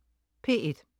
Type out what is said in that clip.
P1: